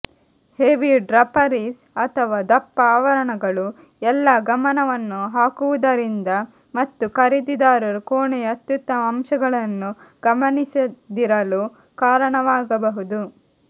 heavy draperies ಅಥವಾ ದಪ್ಪ ಆವರಣಗಳು ಎಲ್ಲಾ ಗಮನವನ್ನು ಹಾಕುವುದರಿಂದ ಮತ್ತು ಖರೀದಿದಾರರು ಕೋಣೆಯ ಅತ್ಯುತ್ತಮ ಅಂಶಗಳನ್ನು ಗಮನಿಸದಿರಲು ಕಾರಣವಾಗಬಹುದು